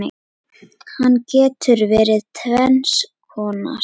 Hann getur verið tvenns konar